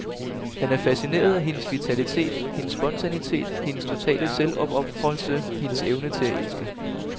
Han er fascineret af hendes vitalitet, hendes spontanitet, hendes totale selvopofrelse, hendes evne til at elske.